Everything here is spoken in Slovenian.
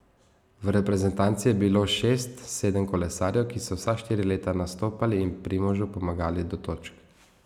V reprezentanci je bilo šest, sedem kolesarjev, ki so vsa štiri leta nastopali in Primožu pomagali do točk.